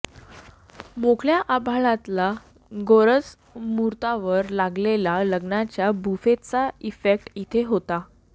मोकळ्या आभाळातला गोरज मुहूर्तावर लागलेल्या लग्नाच्या बुफेचा इफेक्ट इथे होता